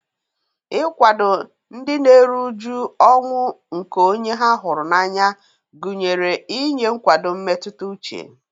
Ịkwado ndị na-eru uju ọnwụ nke onye ha hụrụ n'anya gụnyere inye nkwado mmetụta uche.